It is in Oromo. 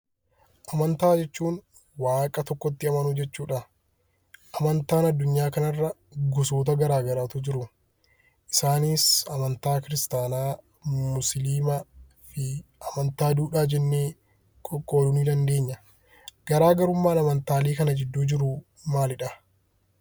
Amantaa jechuun waaqa tokkotti amanuu jechuudha. Amantaan addunyaa kanarra gosoota garaagaraatu jiru. Isaanis amantaa kiristaanaa, musliimaa fi amantaa duudhaa jennee qoqqooduu ni dandeenya. Garaagarummaan amantaalee kana gidduu jiru maalidha?